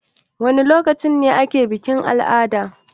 Wana lokaci ne ake bikin-al'ada?